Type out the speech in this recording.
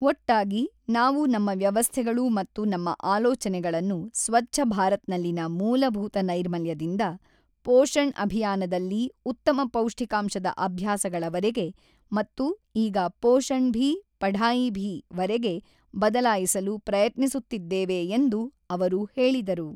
ಒಟ್ಟಾಗಿ, ನಾವು ನಮ್ಮ ವ್ಯವಸ್ಥೆಗಳು ಮತ್ತು ನಮ್ಮ ಆಲೋಚನೆಗಳನ್ನು ಸ್ವಚ್ಛಭಾರತ್ನಲ್ಲಿನ ಮೂಲಭೂತ ನೈರ್ಮಲ್ಯದಿಂದ, ಪೋಷಣ್ ಅಭಿಯಾನದಲ್ಲಿ ಉತ್ತಮ ಪೌಷ್ಟಿಕಾಂಶದ ಅಭ್ಯಾಸಗಳವರೆಗೆ ಮತ್ತು ಈಗ ಪೋಷಣ್ ಭಿ, ಪಢಾಯಿ ಭಿ ವರೆಗೆ ಬದಲಾಯಿಸಲು ಪ್ರಯತ್ನಿಸುತ್ತಿದ್ದೇವೆ ಎಂದು ಅವರು ಹೇಳಿದರು.